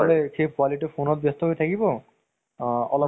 নাই চৱা ন, সেই movie টো তুমি আজি পাৰিলে চাবা। সময় আছে যদি